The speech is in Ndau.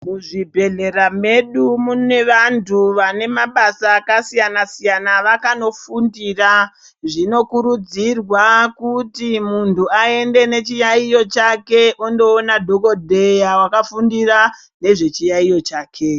Kuzvibhedhlera medu mune vantu vane mabasa akasiyana siyana avakanofundira zvinokurudzirwa kuti muntu aende nechiyaiyo chake ondoona dhokodheya wakafundira nezve chiyaiyo chake.